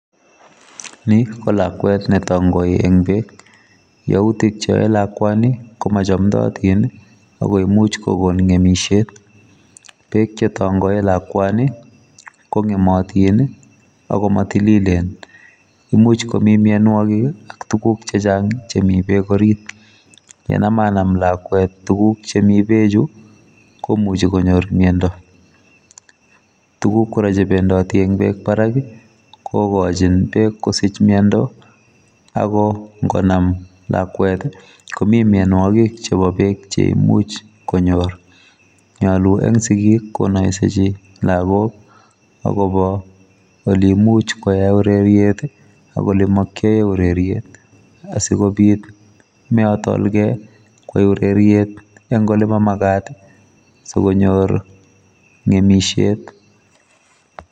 Ni kolakwet netangoi eng bek youtik cheoe lakwani komachomotin akoimuch kogon ngemisiet bek chetangoei lakwani kongemotin akomatililen imuch kotinye mianwokik ak tuguk chechang chemi bek orit yenemenem lakwet tuguk chemi bechu komuchi konyor miando tuguk kora chebendoti eng bek barak kokochin bek kosich miando akongonam lakwet komi mianwokik chebo bek cheimuchi konyor nyalu eng sikik konoisechi lagok akobo oleimuch koae ureriet ak ole makiyoe ureriet asikobit meatol kei koai ureriet eng ole mamagat sikonyor ngemisiet.